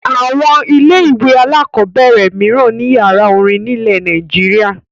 Àwọn ilé-ìwé alákọ̀ọ́bẹ̀rẹ̀ mìíràn ní ìyàrá-orin nílẹ̀ Nàìjíríà.